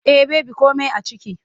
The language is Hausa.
Eh baby komai a ciki.